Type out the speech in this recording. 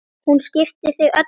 Hún skipti þig öllu máli.